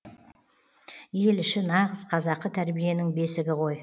ел іші нағыз қазақы тәрбиенің бесігі ғой